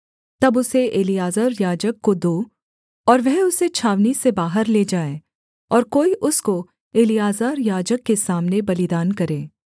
तब उसे एलीआजर याजक को दो और वह उसे छावनी से बाहर ले जाए और कोई उसको एलीआजर याजक के सामने बलिदान करे